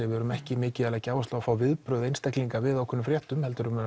við erum ekki mikið að leggja áherslu á að fá viðbrögð einstaklinga við ákveðnum fréttum heldur